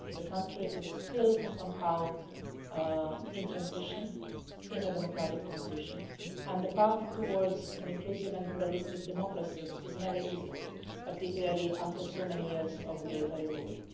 The country is still somehow in a democratic transition, and the path towards an inclusive and pluralistic democracy is never easy, particularly after so many years of military rule.